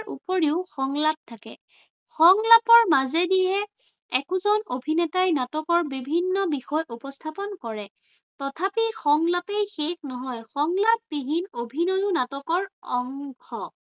উপৰিও সংলাপ থাকে। সংলাপৰ মাজেদিয়ে একোজন অভিনেতাই নাটকৰ বিভিন্ন বিষয় উপস্থাপন কৰে। তথাপি সংলাপেই শেষ নহয়। সংলাপবিহীন অভিনয়ো নাটকৰ অংশ।